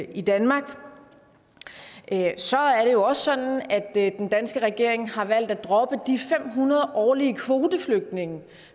i danmark så er det jo også sådan at den danske regering har valgt at droppe de fem hundrede årlige kvoteflygtninge